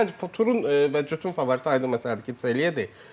Məncə Turun və Jutun favoriti aydın məsələdir ki, Zeliyadır.